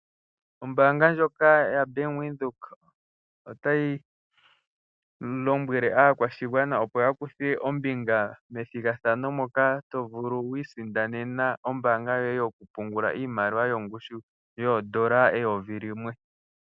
Ombanga ndjoka yoBank Windhoek otayi lombwele aakwashigwana opo ya kuthe ombinga methigathano moka to vulu okwisindanena ombanga yoye yokupungula iimaliwa yongushu yoondola eyovi limwe.